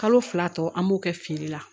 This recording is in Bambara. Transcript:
Kalo fila tɔ an b'o kɛ feere la